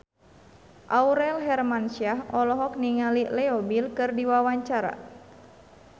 Aurel Hermansyah olohok ningali Leo Bill keur diwawancara